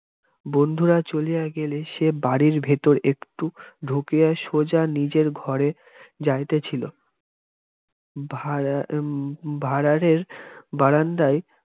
বন্ধুরা চলিয়া গেলে সে বাড়ির ভিতর একটু ঢুকিয়া সোজা নিজের ঘরে যাইতেছিল ভাঁড়ার ভাঁড়ারের বারান্দায়ে